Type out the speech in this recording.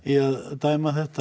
dæma þetta